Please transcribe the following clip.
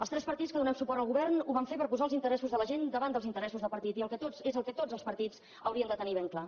els tres partits que donem suport al govern ho vam fer per posar els interessos de la gent davant dels interessos de partit i és el que tots els partits haurien de tenir ben clar